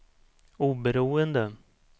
oberoende